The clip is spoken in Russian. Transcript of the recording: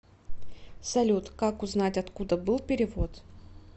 салют как узнать откуда был перевод